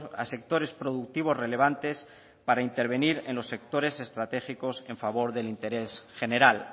a sectores productivos relevantes para intervenir en los sectores estratégicos en favor del interés general